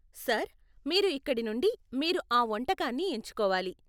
Sir, మీరు ఇక్కడి నుండి మీరు ఆ వంటకాన్ని ఎంచుకోవాలి.